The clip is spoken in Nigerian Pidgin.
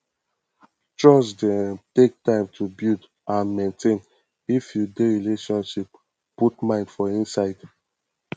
trust dey um take time to build and maintain if you dey relationship put mind for inside